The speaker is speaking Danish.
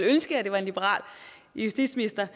ønske at det var en liberal justitsminister